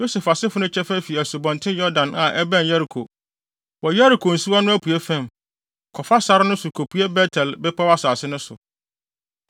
Yosef asefo no kyɛfa fi Asubɔnten Yordan fa a ɛbɛn Yeriko, wɔ Yeriko nsuwa no apuei fam, kɔfa sare no so kopue Bet-El bepɔw asase no so.